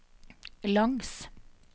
langs